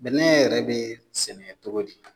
Bɛnɛ yɛrɛ be sɛnɛ togo di ?